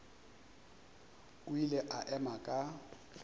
o ile a ema ka